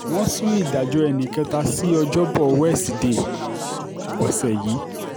wọ́n sún ìdájọ́ ẹnì kẹta sí ọjọ́bọ̀ wẹ́sídẹ̀ẹ́ ọ̀sẹ̀ yìí